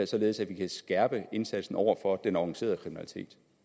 således at vi kan skærpe indsatsen over for den organiserede kriminalitet